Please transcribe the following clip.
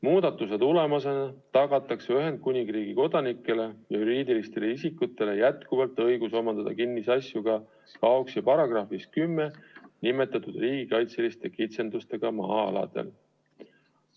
Muudatuse tulemusena tagatakse Ühendkuningriigi kodanikele ja juriidilistele isikutele jätkuvalt õigus omandada kinnisasju ka KAOKS-i §-s 10 nimetatud riigikaitseliste kitsendustega maa-aladel.